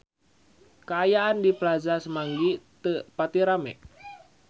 Kaayaan di Plaza Semanggi teu pati rame